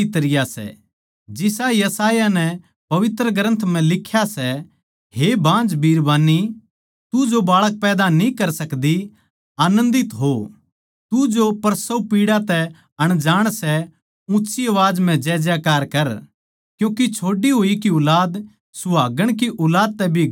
जिसा यशायाह नै पवित्र ग्रन्थ म्ह लिख्या सै हे बाँझ बिरबान्नी तू जो बाळक पैदा न्ही कर सकदी आनन्दित हो तू जो प्रसवपीड़ा तै अनजाण सै ऊँच्ची आवाज म्ह जयजयकार कर क्यूँके छोड़ी होई की ऊलाद सुहागण की ऊलाद तै भी घणी सै